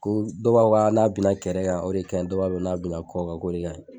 Ko dɔw b'a fɔ n'a bina kɛrɛ kan, o de kaɲi, dɔw b'a fɔ n'a bina kɔ kan o de kaɲi